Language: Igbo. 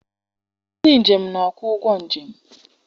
Ndị njem na-akwụ ụgwọ njem.